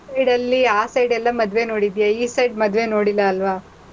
ಆ side ಅಲ್ಲಿ ಆ side ಎಲ್ಲಾ ಮದ್ವೆ ನೋಡಿದ್ಯಾ, ಈ side ಮದ್ವೆ ನೋಡಿಲ್ಲ ಅಲ್ವಾ?